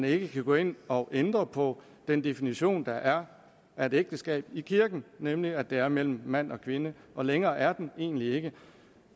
ikke gå ind og ændre på den definition der er af et ægteskab i kirken nemlig at det er mellem mand og kvinde længere er den egentlig ikke